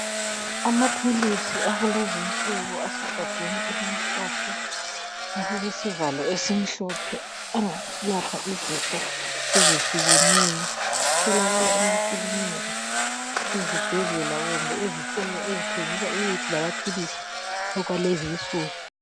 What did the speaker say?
Amaphilisi akulezi insuku asegabheni elimhlophe, elilesivalo esimhlophe angalapha izifo ezihlukeneyo atholakala emakilinika, ezibhedlela kumbe ezitolo ezithengisa imithi lamaphilisi okwalenzi insuku.